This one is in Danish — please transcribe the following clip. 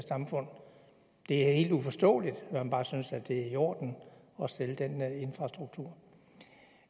samfund det er helt uforståeligt at man bare synes det er i orden at sælge den infrastruktur